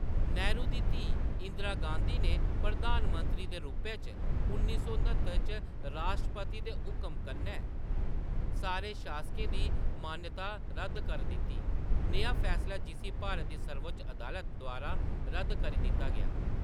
नेहरू दी धीऽ, इंदिरा गांधी ने, प्रधान मंत्री दे रूपै च, उन्नी सौ न्हत्तर च राश्ट्रपति दे हुकम कन्नै सारे शासकें दी मानता रद्द कर दित्ती, नेहा फैसला जिस्सी भारत दी सर्वोच्च अदालत द्वारा रद्द करी दित्ता गेआ।